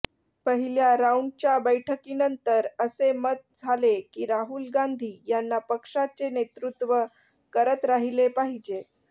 पहिल्या राऊंडच्या बैठकीनंतर असे मत झाले की राहुल गांघी यांना पक्षाचे नेतृत्व करत राहिले पाहिजे